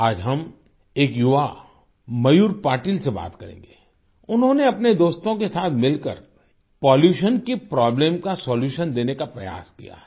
आज हम एक युवा मयूर पाटिल से बात करेंगे उन्होंने अपने दोस्तों के साथ मिलकर पॉल्यूशन की प्रोब्लेम का सोल्यूशन देने का प्रयास किया है